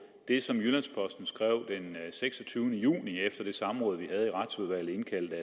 det som jyllands posten skrev den seksogtyvende juni efter det samråd vi havde i retsudvalget